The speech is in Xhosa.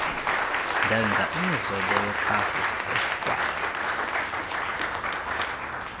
ndenza imizobo yekassiesbaai